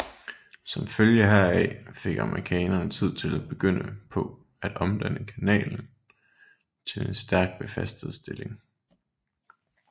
Som følge heraf fik amerikanerne tid til at begynde på at omdanne kanalen til en stærkt befæstet stilling